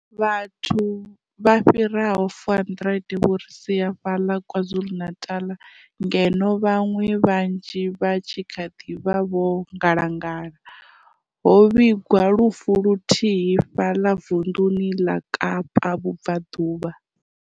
Vhathu vha fhiraho 400 vho ri sia fhaḽa KwaZulu Natal ngeno vhaṅwe vhanzhi vha tshi kha ḓi vha vho ngalangala. Ho vhigwa lufu luthihi fhaḽa vunḓuni ḽa Kapa Vhubvaḓuvha.